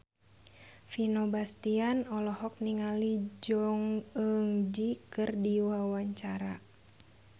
Vino Bastian olohok ningali Jong Eun Ji keur diwawancara